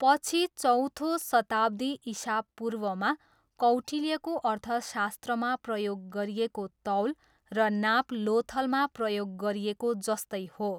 पछि चौथो शताब्दी इसापूर्वमा कौटिल्यको अर्थशास्त्रमा प्रयोग गरिएको तौल र नाप लोथलमा प्रयोग गरिएको जस्तै हो।